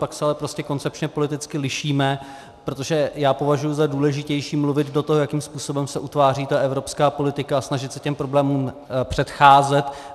Pak se ale prostě koncepčně politicky lišíme, protože já považuji za důležitější mluvit do toho, jakým způsobem se utváří ta evropská politika, a snažit se těm problémům předcházet.